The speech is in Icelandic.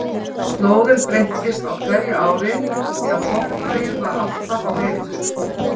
Slóðin breyttist á hverju ári því að botnlagið var alltaf á hreyfingu.